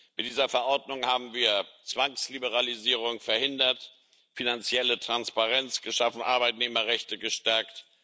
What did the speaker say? Mit dieser Verordnung haben wir Zwangsliberalisierung verhindert, finanzielle Transparenz geschaffen, Arbeitnehmerrechte gestärkt.